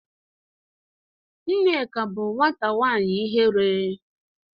Nneka bu nwata nwanyi ihere